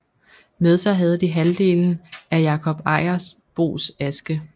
Med sig havde de halvdelen af Jakob Ejersbos aske